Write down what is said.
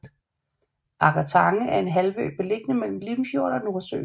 Agger Tange er en halvø beliggende mellem Limfjorden og Nordsøen